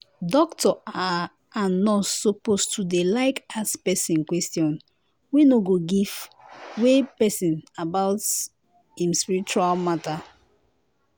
doctor ah and nurse suppose to dey like ask pesin question wey no go fit vex pesin about em spiritual matter.